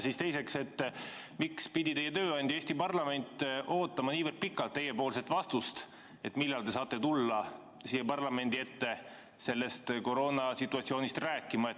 Ja teiseks: miks pidi teie tööandja Eesti parlament ootama nii pikalt teie vastust, millal te saate tulla siia parlamendi ette koroonasituatsioonist rääkima?